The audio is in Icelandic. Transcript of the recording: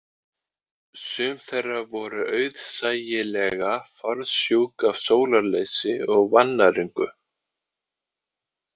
Sum þeirra voru auðsæilega fársjúk af sólarleysi og vannæringu